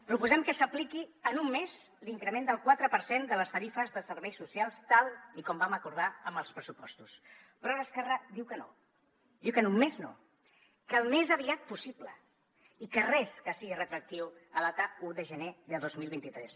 proposem que s’apliqui en un mes l’increment del quatre per cent de les tarifes de serveis socials tal com vam acordar amb els pressupostos però ara esquerra diu que no diu que en un mes no que al més aviat possible i que res que sigui retroactiu en data un de gener de dos mil vint tres